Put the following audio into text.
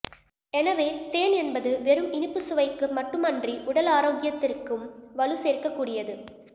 எனவே தேன் என்பது வெறும் இனிப்பு சுவைக்கு மட்டுமன்றி உடல் ஆரோக்கியத்திற்கும் வலு சேர்க்கக் கூடியது